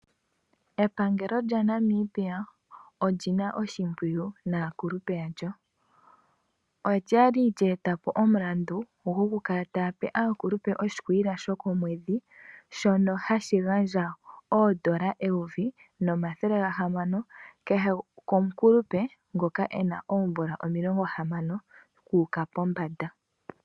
Epangelo lyaNamibia olyi na oshimpwiyu naakulupe yalyo olya li lyeetapo omulandu gokukala taya pe aakulupe oshikwiila shokomwedhi shono hashi gandjwa oondola eyovi nomathele gahamano kehe komukulupe ngoka e na oomvula omilongo hamano okuuka pombanda.